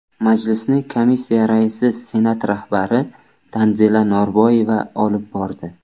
Majlisni komissiya raisi Senat rahbari Tanzila Norboyeva olib bordi.